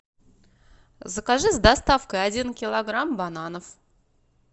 закажи с доставкой один килограмм бананов